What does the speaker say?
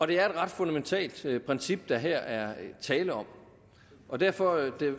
det er et ret fundamentalt princip der her er tale om og derfor